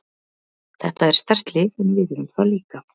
Þetta er sterkt lið en við erum það líka.